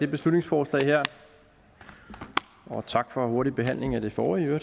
beslutningsforslag og tak for i øvrigt hurtig behandling af det forrige det